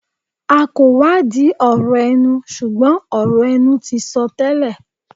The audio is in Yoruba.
a kò wádìí ọ̀rọ̀ ẹnu, ṣùgbọ́n ọ̀rọ̀ ẹnu ti sọ tẹ́lẹ̀